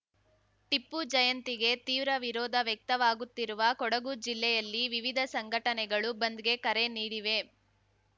ಟಿಪ್ಪು ಜಯಂತಿಗೆ ತೀವ್ರ ವಿರೋಧ ವ್ಯಕ್ತವಾಗುತ್ತಿರುವ ಕೊಡಗು ಜಿಲ್ಲೆಯಲ್ಲಿ ವಿವಿಧ ಸಂಘಟನೆಗಳು ಬಂದ್‌ಗೆ ಕರೆ ನೀಡಿವೆ